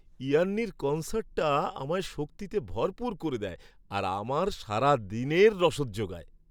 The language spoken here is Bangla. ইয়ান্নির কন্সার্টটা আমায় শক্তিতে ভরপুর করে দেয় আর আমার সারাদিনের রসদ জোগায়।